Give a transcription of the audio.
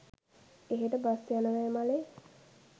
එහෙට බස් යනවැයි මලේ